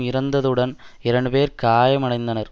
இறந்ததுடன் இரண்டு பேர் காயமடைந்தனர்